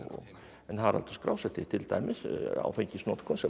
en Haraldur skrásetti til dæmis áfengisnotkun sem var